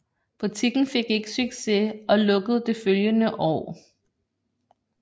Butikken fik ikke succes og lukkede det følgende år